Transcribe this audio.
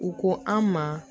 U ko an ma